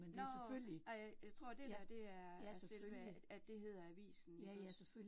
Nåh ej, jeg tror det dér, det er altså selve, at det hedder avisen ikke også